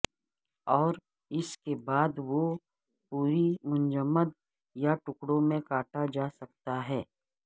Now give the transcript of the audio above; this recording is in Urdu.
اور اس کے بعد وہ پوری منجمد یا ٹکڑوں میں کاٹا جا سکتا ہے